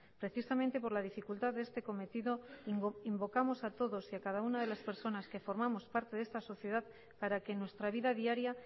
precisamente por la dificultad de este cometido invocamos a todos y a cada una de las personas que formamos parte de esta sociedad para que en nuestra vida diaria